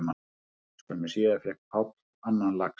Skömmu síðar fékk Páll annan lax